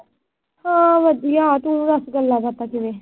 ਹੋਰ ਵਧੀਆ। ਤੂੰ ਦੱਸ ਗੱਲਾਂ ਬਾਤਾਂ ਕਿਵੇਂ।